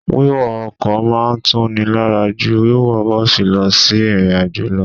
Wíwọ ọkọ̀ máa ń tuni lára jú wíwọ bọ́ọ̀sì lọ sí ìrìnàjò lọ.